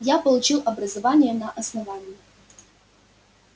я получил образование на основании